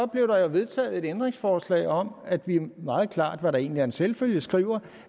blev der jo vedtaget et ændringsforslag om at vi meget klart hvad der egentlig er en selvfølge skriver